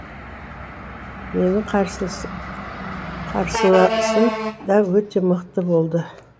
менің қарсыласым да өте мықты болды